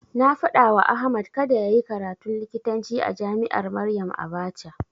Na faɗawa Ahmad kada yayi karatun likitanci a jami'ar Maryam Abacha.